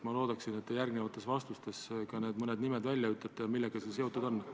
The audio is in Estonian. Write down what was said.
Ma loodan, et te järgnevates vastustes ütlete välja ka need mõned nimed ja selle, millega nad seotud on.